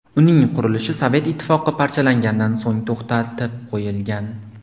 Uning qurilishi Sovet Ittifoqi parchalangandan so‘ng to‘xtatib qo‘yilgan.